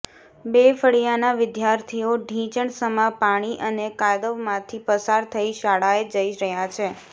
બે ફળિયાના વિદ્યાર્થીઓ ઢીંચણસમા પાણી અને કાદવમાંથી પસાર થઈ શાળાએ જઇ રહ્યાં છે